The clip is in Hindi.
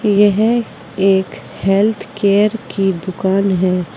यह है एक हेल्थ केयर की दुकान है।